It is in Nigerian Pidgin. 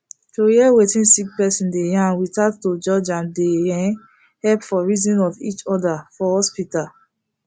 to hear wetin sick persin dey yarn without to judge am dey um helep for reasoning of each other for hospital